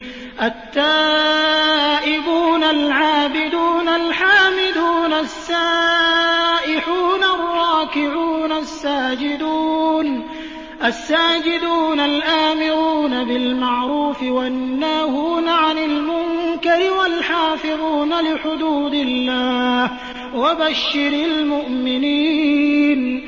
التَّائِبُونَ الْعَابِدُونَ الْحَامِدُونَ السَّائِحُونَ الرَّاكِعُونَ السَّاجِدُونَ الْآمِرُونَ بِالْمَعْرُوفِ وَالنَّاهُونَ عَنِ الْمُنكَرِ وَالْحَافِظُونَ لِحُدُودِ اللَّهِ ۗ وَبَشِّرِ الْمُؤْمِنِينَ